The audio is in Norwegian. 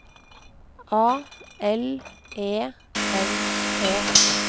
A L E N E